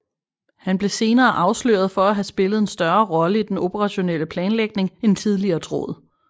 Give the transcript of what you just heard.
Han blev senere afsløret for at have spillet en større rolle i den operationelle planlægning end tidligere troet